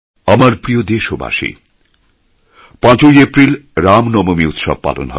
আমার প্রিয় দেশবাসী ৫ এপ্রিল রামনবমী উৎসব পালন হবে